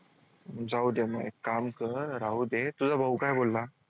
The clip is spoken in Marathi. जाऊदे म एक काम कर राहूदे तुझा भाऊ काय बोलला?